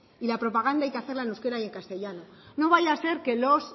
y la propaganda hay que hacerla en euskera y en castellano no vaya a ser que los